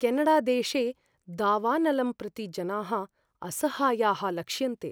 केनडादेशे दावानलं प्रति जनाः असहायाः लक्ष्यन्ते।